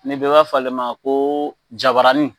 Ne b'a fɔ ale ma ko jabarani.